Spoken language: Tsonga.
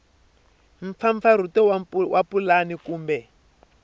b mpfampfarhuto wa pulani kumbe